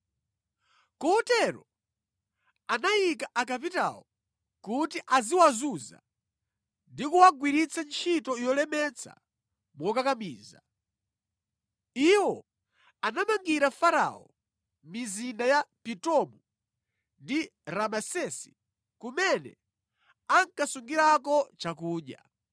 Kotero anayika akapitawo kuti aziwazunza ndi kuwagwiritsa ntchito yolemetsa mokakamiza. Iwo anamangira Farao mizinda ya Pitomu ndi Ramesesi kumene ankasungirako chakudya.